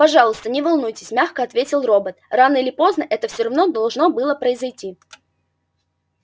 пожалуйста не волнуйтесь мягко ответил робот рано или поздно это все равно должно было произойти